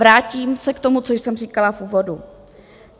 Vrátím se k tomu, co jsem říkala v úvodu.